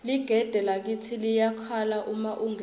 ligede lakitsi liyakhala uma ungena